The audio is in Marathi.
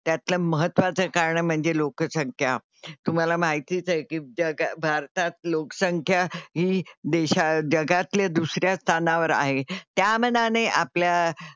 त्यातलं महत्त्वाचं कारण म्हणजे लोकसंख्या. तुम्हाला माहितीच आहे की जगात भारतात लोकसंख्या ही देशा जगातले दुसऱ्या स्थानावर आहे त्या मानाने आपल्या,